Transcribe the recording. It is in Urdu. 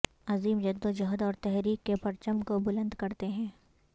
عظیم جدوجہد اور تحریک کے پرچم کو بلند کرتے ہیں